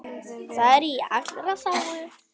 Það er í allra þágu.